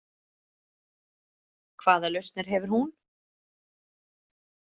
Hvaða lausnir hefur hún?